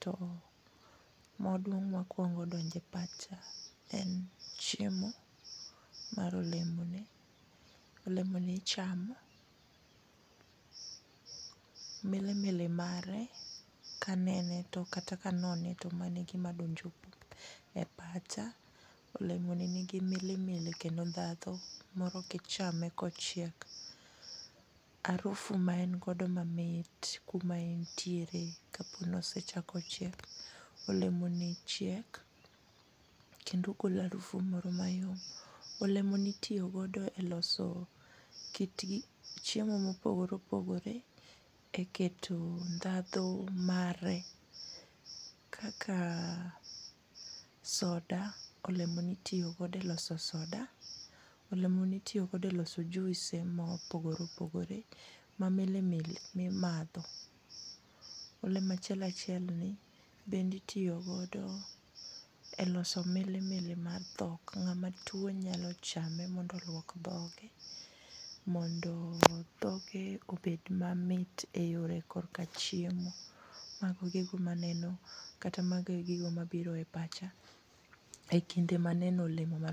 to maduong' makwongo donje pacha en chiemo mar olemo ni , olemo ni ichamo. Milimili mare kanene to kata kanone to mano e gima donjo e pacha. Olemo ni nigi milimili kendo ndhadhu moro kichame kochiek arufu ma en go mamit kuma entiere kapo ni osechiek. Olemo ni chiek kendo golo arufu moro mayom olemo ni itiyo godo e loso kit chiemo mopogore opogore e keto ndhadhu mare kaka soda, olemo ni itiyo godo e loso soda olemo ni itiyo godo e loso juise moko ma milimili mimadho. Olemo achiel achiel ni bende itiyo godo e loso milimili mar dhok ng'ama tuo nyalo chame mondo oluok dhoge mondo dhoge mondo dhoge obed mamit e yore kor ka chiemo. Mago e gigo maneno kata mago e gigo mabiro e pacha e kinde maneno olemo ma